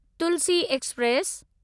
Tulsi express